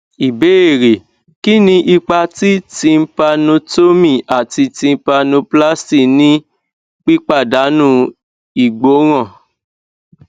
ìbéèrè kini ipa ti tympanotomy ati tympanoplasty ni pipadanu igboran